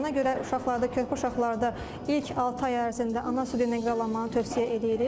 Ona görə uşaqlarda, körpə uşaqlarda ilk altı ay ərzində ana südü ilə qidalanmanı tövsiyə eləyirik.